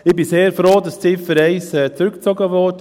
Ich bin sehr froh, dass die Ziffer 1 zurückgezogen wurde.